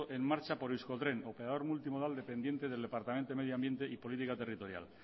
en marcha por euskotren o operador multimodal dependiente del departamento de medio ambiente y política territorial